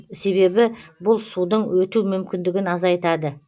себебі бұл судың өту мүмкіндігін азайтады